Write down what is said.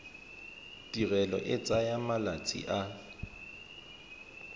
tirelo e tsaya malatsi a